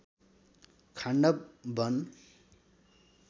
Khandava वन